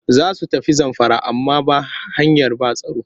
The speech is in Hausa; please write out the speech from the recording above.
Za su tafi Zamfara amma ba hanyar ba tsaro